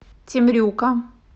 темрюка